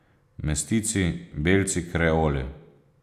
Mestici, belci, kreoli.